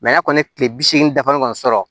a kɔni tile bi seegin dafalen kɔni sɔrɔ